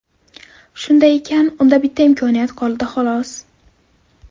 Shunday ekan, unda bitta imkoniyat qoldi, xolos.